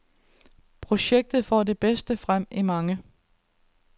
Projektet får det bedste frem i mange.